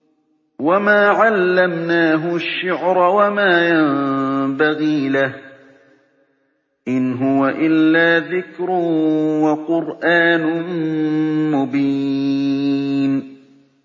وَمَا عَلَّمْنَاهُ الشِّعْرَ وَمَا يَنبَغِي لَهُ ۚ إِنْ هُوَ إِلَّا ذِكْرٌ وَقُرْآنٌ مُّبِينٌ